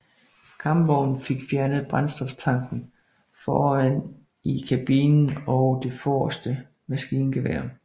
Kampvognen fik fjernet brændstoftanken foran i kabinen og det forreste maskingevær